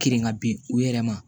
Kirin ka bin u yɛrɛ ma